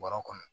Bɔrɔ kɔnɔ